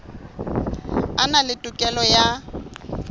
a na le tokelo ya